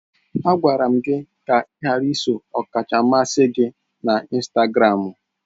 Agwara m gị ka ị ghara iso ọkacha mmasị gị na Instagramu!